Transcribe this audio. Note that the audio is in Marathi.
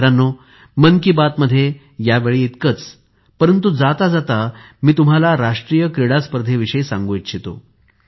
मित्रांनो मन कि बात मध्ये यावेळी इतकेच परंतु जाता जाता मी तुम्हाला राष्ट्रीय क्रीडा स्पर्धेविषयी सांगू इच्छितो